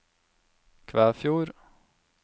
Kvæfjord